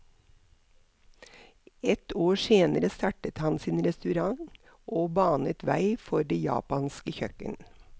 Ett år senere startet han sin restaurant og banet vei for det japanske kjøkken.